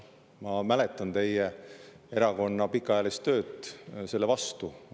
Ma mäletan teie erakonna pikaajalist tööd selle vastu.